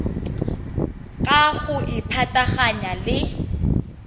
ka go e pataganya le